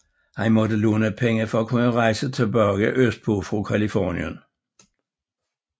Han måtte låne penge for at kunne rejse tilbage østpå fra Californien